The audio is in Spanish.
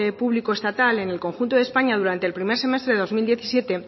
público estatal en el conjunto de españa durante el primer semestre de dos mil diecisiete